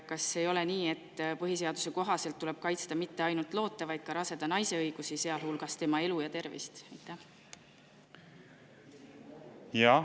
Kas ei ole nii, et põhiseaduse kohaselt tuleb kaitsta mitte ainult loote, vaid ka raseda naise õigusi, sealhulgas tema elu ja tervist?